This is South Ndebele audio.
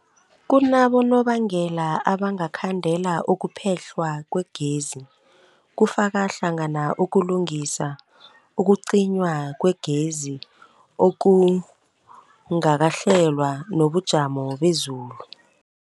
Kunabonobangela abangakhandela ukuphehlwa kwegezi, kufaka hlangana ukulungisa, ukucinywa kwegezi okungakahlelwa, nobujamo bezulu.